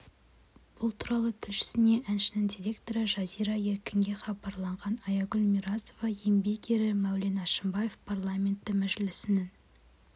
бұл туралы тілшісіне әншінің директоры жазира еркінге хабарлаған аягүл миразова еңбек ері мәулен әшімбаев парламенті мәжілісінің